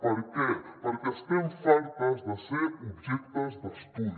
per què perquè estem fartes de ser objectes d’estudi